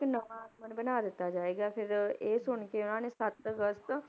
ਇੱਕ ਨਵਾਂ ਬਣਾ ਦਿੱਤਾ ਜਾਏਗਾ ਫਿਰ ਇਹ ਸੁਣ ਕੇ ਉਹਨਾਂ ਨੇ ਸੱਤ ਅਗਸਤ